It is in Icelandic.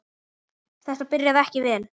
Þetta byrjaði ekki vel.